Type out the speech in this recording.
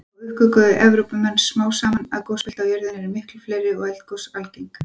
Þá uppgötvuðu Evrópumenn smám saman að gosbelti á jörðinni eru miklu fleiri og eldgos algeng.